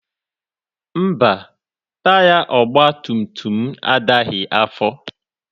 Mba, taya ọgbatumtum m adaghị afọ.